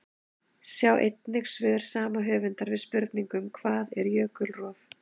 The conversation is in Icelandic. Sjá einnig svör sama höfundar við spurningunum: Hvað er jökulrof?